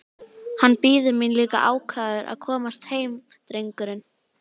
Hann bíður mín líka ákafur að komast heim drengurinn!